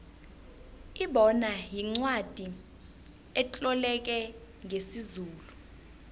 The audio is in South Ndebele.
ibona yincwacli etloleke ngesizulu